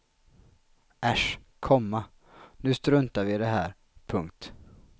Äsch, komma nu struntar vi i det här. punkt